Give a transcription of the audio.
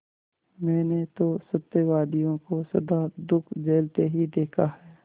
मैंने तो सत्यवादियों को सदा दुःख झेलते ही देखा है